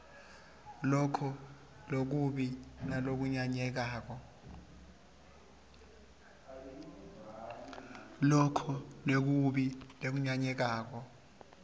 loko lokubi nalokunyanyekako